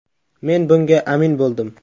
Men bunga amin bo‘ldim.